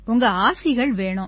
உங்க ஆசிகள் வேணும்